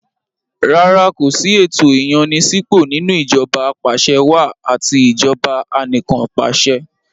Rárá kò sí ẹ̀tò ìyànni-sípò nínú ìjọba apàṣẹwàá àti ìjọba anìkànpàṣẹ.